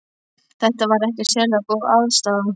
Þetta var ekkert sérlega góð aðstaða.